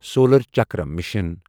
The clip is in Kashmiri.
solar chakra mission